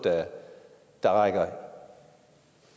der rækker